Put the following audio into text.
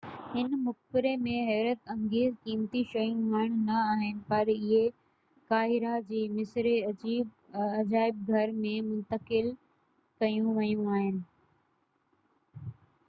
هن مقبري ۾ حيرت انگيز قيمتي شيون هاڻ نہ آهن پر اهي قاهره جي مصري عجائب گهر ۾ منتقل ڪيون ويون آهن